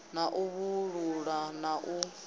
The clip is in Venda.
na u vhalulula na u